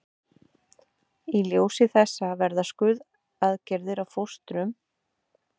Í ljósi þessa verða skurðaðgerðir á fóstrum sífellt raunhæfari og öruggari kostur.